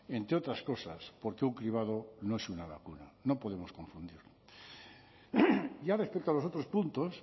entre otras cosas porque un cribado no es una vacuna no podemos confundirlo ya respecto a los otros puntos